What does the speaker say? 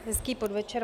Hezký podvečer.